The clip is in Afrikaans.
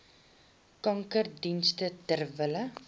kankerdienste ter wille